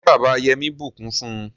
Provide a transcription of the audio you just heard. ṣe bàbà Yemi bukún fún?